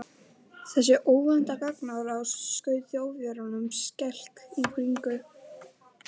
Þessi óvænta gagnárás skaut Þjóðverjunum skelk í bringu.